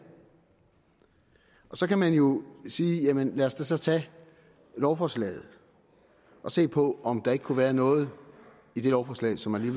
så kan man jo sige jamen lad os da så tage lovforslaget og se på om der ikke kunne være noget i det lovforslag som man